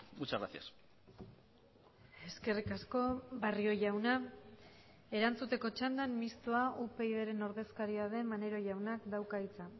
muchas gracias eskerrik asko barrio jauna erantzuteko txandan mistoa upydren ordezkaria den maneiro jaunak dauka hitza